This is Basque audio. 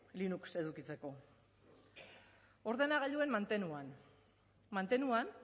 linux edukitzeko ordenagailuen mantenuan mantenuan